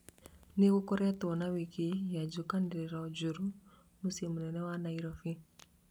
nĩgũkoretwo na wiki ya njũkanĩrĩro njũru mũciĩ mũnene wa Nairobi